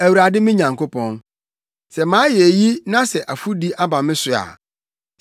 Awurade me Nyankopɔn, sɛ mayɛ eyi na sɛ afɔdi aba me so a,